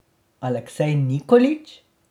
Aleksej Nikolić?